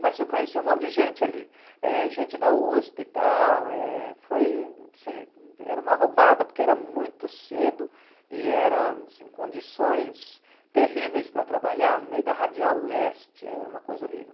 Mas eu conheci um monte de gente ali, eh gente da USP e tal, eh foi, assim, era uma roubada, porque era muito cedo e era assim em condições terríveis para trabalhar no meio da radial leste, era uma coisa horrível.